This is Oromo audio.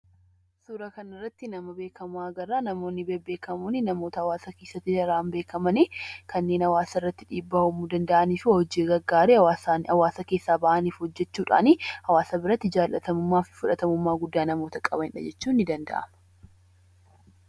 Suuraa kanarratti nama beekkamaa agarraa, namoonni bebbeekamoon namoota hawaasa keesaatti bebbeekamanii, kanneen hawaasarratti dhiibbaa uumuu danda'aniif hojii gaggaarii hawaasaaf , hawaasa keesaa bahaniif hojjachuudhani hawaasa biratti jaalatamummaaf fudhatamummaa qabanidha jechuun ni danda'ama.